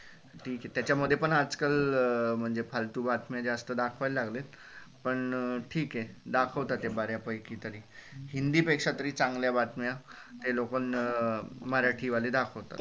त्याच्या मध्ये पण आजकाल म्हणजे फालतू बातम्या जास्त दखवायला लागले पण ठीक हे दाखवतात ते बऱ्या पैकी तरी हिंदी पेक्षा तरी चांगल्या बातम्या ते लोक मराठी वाले दाखवतात.